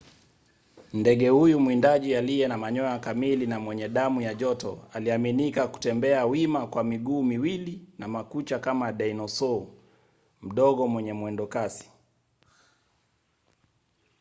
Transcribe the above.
ndege huyu mwindaji aliye na manyoya kamili na mwenye damu ya joto aliaminika kutembea wima kwa miguu miwili na makucha kama dinosau mdogo mwenye mwendokasi